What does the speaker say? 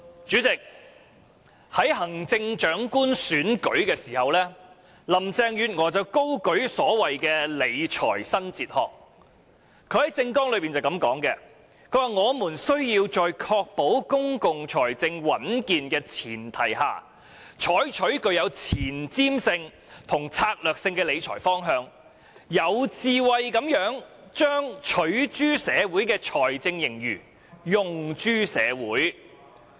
主席，在行政長官選舉期間，林鄭月娥高舉所謂的"理財新哲學"，在政綱中這樣提出："我們需要在確保公共財政穩健的前提下，採取具有前瞻性與策略性的理財方針，有智慧地把'取諸社會'的財政盈餘'用諸社會'。